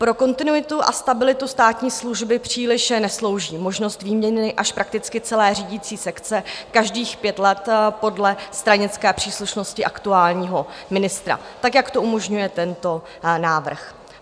Pro kontinuitu a stabilitu státní služby příliš neslouží možnost výměny až prakticky celé řídící sekce každých pět let podle stranické příslušnosti aktuálního ministra, tak jak to umožňuje tento návrh.